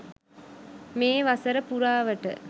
මේ වසර පුරාවට